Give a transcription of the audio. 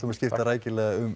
að skipta rækilega um